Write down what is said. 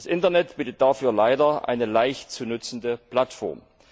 Das Internet bietet dafür leider eine leicht zu nutzende Plattform.